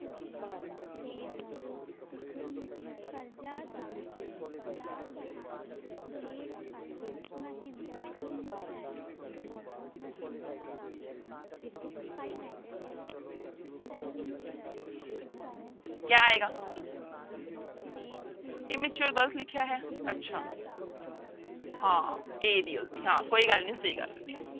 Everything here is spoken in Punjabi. ਕਿਆ ਆਏਗਾ immature ਗ਼ਲਤ ਲਿਖਿਆ ਹੈ ਅੱਛਾ ਹਾਂ ਹਾਂ ਕੋਈ ਗੱਲ ਨੀ ਸਹੀ ਕਰ ਲੈਂਦੇ ਹਾਂ।